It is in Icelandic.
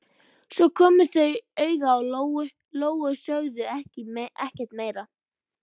Svo komu þau auga á Lóu-Lóu og sögðu ekkert meira.